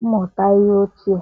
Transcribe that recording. mmụta ihe ochie?